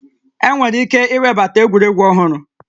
Enwere ike iwebata egwuregwu ọhụrụ